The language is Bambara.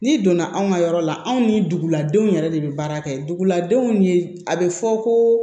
N'i donna anw ka yɔrɔ la anw ni duguladenw yɛrɛ de bɛ baara kɛ duguladenw ye a bɛ fɔ ko